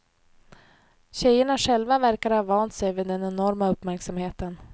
Tjejerna själva verkar ha vant sig vid den enorma uppmärksamheten.